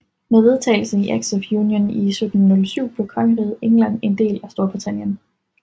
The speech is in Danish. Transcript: Med vedtagelsen af Acts of Union i 1707 blev Kongeriget England en del af Storbritannien